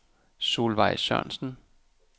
Solveig Sørensen